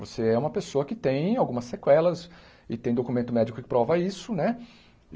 Você é uma pessoa que tem algumas sequelas e tem documento médico que prova isso, né?